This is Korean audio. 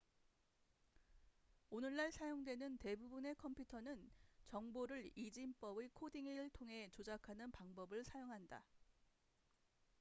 오늘날 사용되는 대부분의 컴퓨터는 정보를 이진법의 코딩을 통해 조작하는 방법을 사용한다